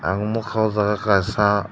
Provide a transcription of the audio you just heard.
ang nukha o jaga o kaisa.